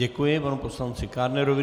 Děkuji panu poslanci Kádnerovi.